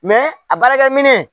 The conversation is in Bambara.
a baarakɛminɛn